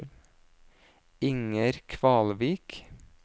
Inger Kvalvik